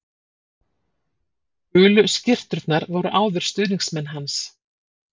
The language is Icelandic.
Gulu skyrturnar voru áður stuðningsmenn hans